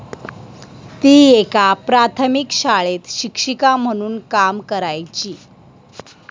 ती एका प्राथमिक शाळेत शिक्षिका म्हणून काम करायची.